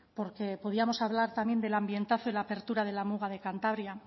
porque podíamos hablar también del ambientazo y la apertura de la muga de cantabria